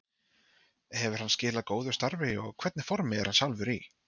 Hefur hann skilað góðu starfi og hvernig formi er hann sjálfur í?